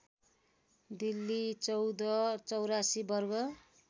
दिल्ली १४८४ वर्ग